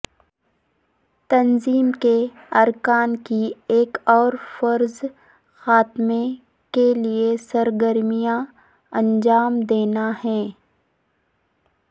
تنظیم کے ارکان کی ایک اور فرض خاتمے کیلئے سرگرمیاں انجام دینا ہے